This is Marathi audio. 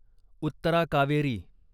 उत्तरा कावेरी